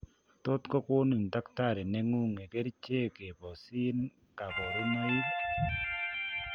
Tot kokonin takitari nengung kercheek keboseen kaborunoik